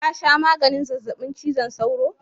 ka sha maganin zazzabin cizon sauro?